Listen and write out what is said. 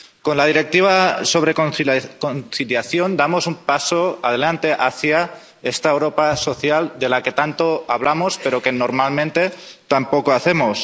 Con la Directiva sobre conciliación damos un paso adelante hacia esta Europa social de la que tanto hablamos, pero que normalmente tan poco hacemos.